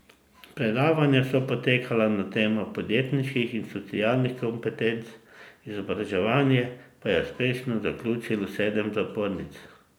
Predavanja so potekala na temo podjetniških in socialnih kompetenc, izobraževanje pa je uspešno zaključilo sedem zapornic.